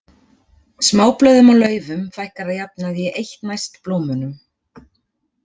Smáblöðum á laufum fækkar að jafnaði í eitt næst blómunum.